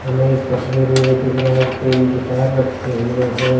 हमे इस तस्वीर में ये दिख रहा है कि तीन गिटार रखे हुए हैं।